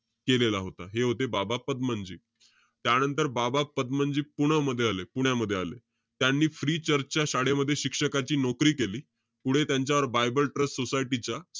केलेला होता. हे होते बाबा पदमनजी. त्यानंतर, बाबा पदमनजी पुण्यामध्ये आले. पुण्यामध्ये आले. त्यांनी free church च्या शाळेमध्ये शिक्षकाची नोकरी केली. पुढे त्यांच्यावर, बायबल ट्रस्ट सोसायटीच्या,